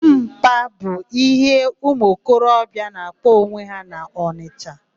Mpa', bụ íhé ụmụokorobịa na-akpọ onwe ha n'Ọnịsha.